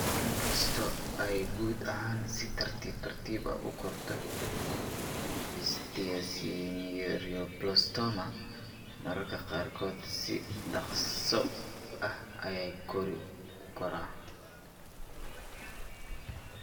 Inkasta oo ay guud ahaan si tartiib tartiib ah u korto, esthesioneuroblastoma mararka qaarkood si dhakhso ah ayuu u kori karaa.